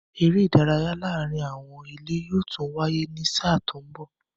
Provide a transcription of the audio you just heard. Eré ìdárayá láàárín àwọn ilé yóò tún wáyé ní sáà tó mbọ̀